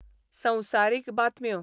संवसारीक बातम्यो